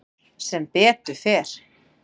Sem betur fer